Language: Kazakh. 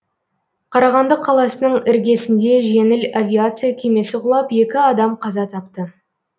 қарағанды қаласының іргесінде жеңіл авиация кемесі құлап екі адам қаза тапты